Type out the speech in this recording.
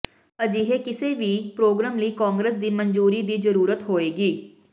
ਅਜਿਹੇ ਕਿਸੇ ਵੀ ਪ੍ਰੋਗਰਾਮ ਲਈ ਕਾਂਗਰਸ ਦੀ ਮਨਜ਼ੂਰੀ ਦੀ ਜ਼ਰੂਰਤ ਹੋਏਗੀ